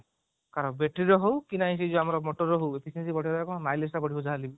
car battery ର ହଉ କି ନାଇଁ ଆମର ସେଇ ମୋଟର ର ହଉ mileage ଟା ବଢିବ ଯାହା ହେଲେ ବି